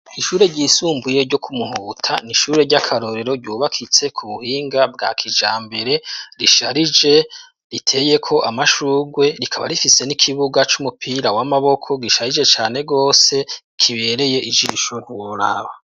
Ishure ryisumbuye ryo kumuhuta n'ishure ry'akarorero ryubakitse ku buhinga bwa kijambere risharije riteye ko amashugwe rikaba rifise n'ikibuga c'umupira w'amaboko gisharije cane wose kibereye ijisho ntiworaba.